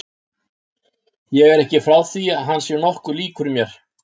Ég er ekki frá því að hann sé nokkuð líkur mér.